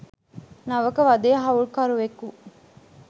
නවක වදේ හවුල්කරුවෙකු